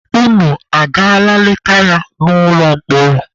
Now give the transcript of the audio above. Unu agaala leta ya n'ụlọ mkpọrọ?